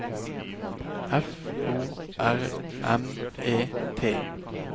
F O R M E T